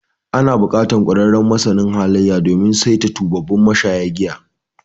Ana buƙatar ƙwararren masanin halayya, domin saita tubabbun mashayan giya.